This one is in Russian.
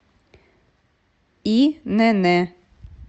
инн